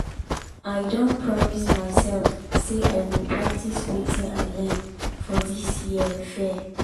i don promise myself say i go practice wetin i learn for this year fair.